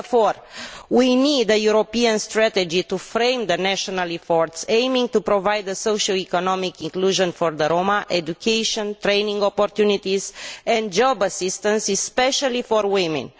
Therefore, we need a European strategy to frame the national efforts aimed at providing socio economic inclusion for the Roma, education, training opportunities and job assistance, especially for women.